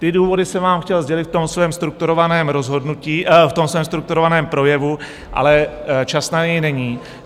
Ty důvody jsem vám chtěl sdělit v tom svém strukturovaném rozhodnutí, v tom svém strukturovaném projevu, ale čas na něj není.